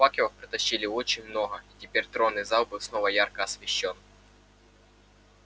факелов притащили очень много и теперь тронный зал снова был ярко освещён